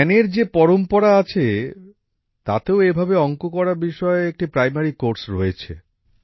ধ্যানের যে পরম্পরা আছে তাতেও এভাবে অংক করা বিষয়ে একটি প্রাইমারি কোর্স রয়েছে